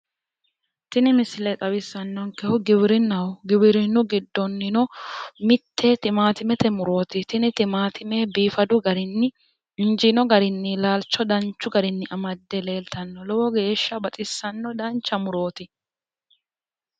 tini misile xawissannonkehu giwirinnaho giwirinnu giddonino mitte timaatimete murooti tini timaattime biifadu garinni injiino garinni laalcho danchu garinni amadde leeltanno lowo geeshsha baxissanno dancha murooti.